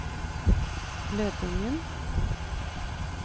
Lødingen